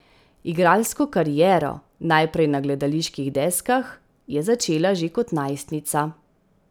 Igralsko kariero, najprej na gledaliških deskah, je začela že kot najstnica.